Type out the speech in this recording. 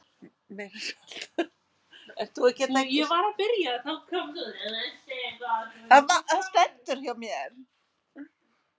Það vantaði eitthvað.